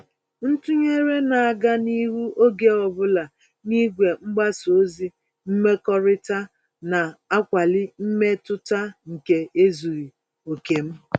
Ntụnyere na-aga n'ihu oge ọbula n'igwe mgbasa ozi mmekọrịta, na-akwali mmetụta nke ezughị oke m.